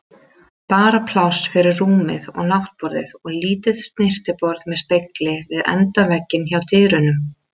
Bara pláss fyrir rúmið og náttborðið og lítið snyrtiborð með spegli við endavegginn hjá dyrunum.